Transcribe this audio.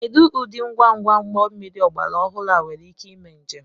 Kedu ụdị ngwa ngwa ụgbọ mmiri ọgbara ọhụrụ nwere ike ime njem